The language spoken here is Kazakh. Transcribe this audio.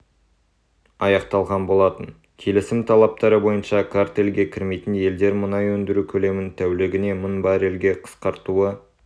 аяқталған болатын келісім талаптары бойынша картельге кірмейтін елдер мұнай өндіру көлемін тәулігіне мың баррельге қысқартуы